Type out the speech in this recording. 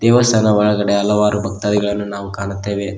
ದೇವಸ್ಥಾನ ಒಳಗಡೆ ಹಲವಾರು ಭಕ್ತಾದಿಗಳನ್ನು ನಾವು ಕಾಣುತ್ತೇವೆ.